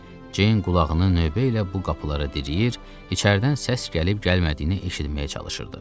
Ceyn qulağını növbə ilə bu qapılara diriyir, içəridən səs gəlib gəlmədiyini eşitməyə çalışırdı.